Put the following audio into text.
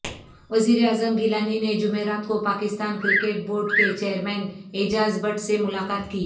وزیراعظم گیلانی نے جمعرات کو پاکستان کرکٹ بورڈ کے چیئرمین اعجاز بٹ سے ملاقات کی